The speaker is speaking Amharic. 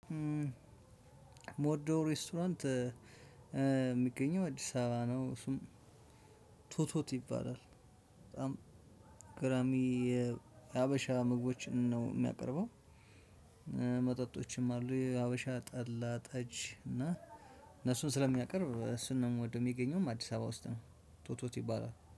እምወደው ሬስቶራንት እሚገኘው አዲስ አበባ ነው እሱም ቶቶት ይባላል በጣም ግራሚ የሀበሻ ምግቦችን ነው እሚያቀርበው። መጠጦችም አሉ የሀበሻ ጠላ ጠጅ እና እነሱን ስለሚያቀርብ እሱን ነው እምወደው። እሚገኘውም አዲስ አበባ ውስጥ ነው ቶቶት ይባላል